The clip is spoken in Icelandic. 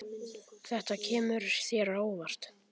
Þetta kemur þér á óvart.